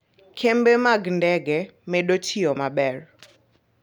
Kembe mag ndege medo tiyo maber.